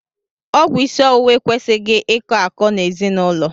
Ọgwụ isi ọwụwa ekwesịghị ị kọ akọ n'ezinaụlọ.